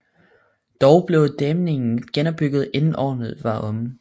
Dog blev dæmningen genopbygget inden året var omme